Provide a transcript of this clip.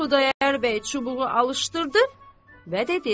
Xudayar bəy çubuğu alışdırdı və dedi: